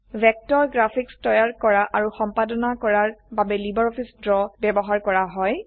vector graphics তৈয়াৰ আৰু সম্পাদনা কৰাৰ বাবে লাইব্ৰঅফিছ ড্ৰ ব্যবহাৰ কৰা হয়